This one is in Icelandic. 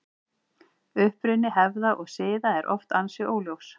Uppruni hefða og siða er oft ansi óljós.